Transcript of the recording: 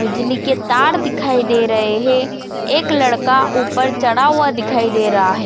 बिजली के तार दिखाई दे रहे हे एक लड़का ऊपर चढ़ा हुआ दिखाई दे रहा है।